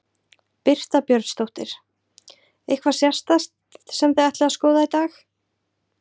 Birta Björnsdóttir: Eitthvað sérstakt sem þið ætlið að skoða í dag?